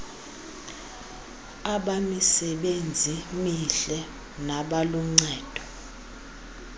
abamisebenzi mihle nabaluncedo